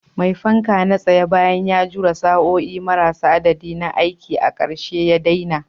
Mai fanka na tsaye, bayan ya jure sa'o'i marasa adadi na aiki, a ƙarshe ya daina.